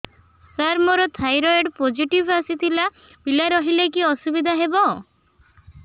ସାର ମୋର thyroid positive ଆସିଥିଲା ପିଲା ରହିଲେ କି ଅସୁବିଧା ହେବ